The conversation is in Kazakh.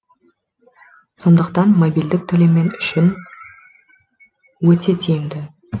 сондықтан мобильдік төлем мен үшін өте тиімді